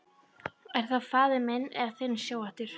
Er það minn eða þinn sjóhattur